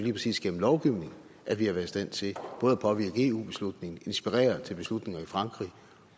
igennem lovgivning at vi har været i stand til både at påvirke eu beslutningen inspirere til beslutninger i frankrig